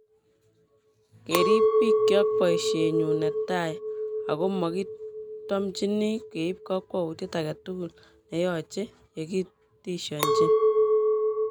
" keriip bik kyok boishet nyun netai, oko mokitomchini keib kokwoutyet age tugul neyoche yekitishonchi.